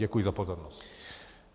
Děkuji za pozornost.